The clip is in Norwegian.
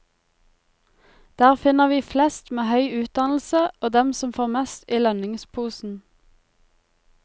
Der finner vi flest med høy utdannelse og dem som får mest i lønningsposen.